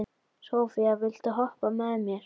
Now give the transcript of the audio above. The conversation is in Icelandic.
Sophia, viltu hoppa með mér?